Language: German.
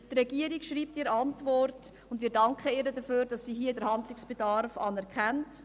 Wir danken der Regierung, dass sie den Handlungsbedarf anerkennt.